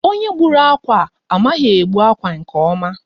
Onye gbùrù ákwà a, amaghị egbu akwa nke ọma.